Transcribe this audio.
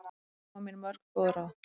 Þær gáfu mér mörg góð ráð.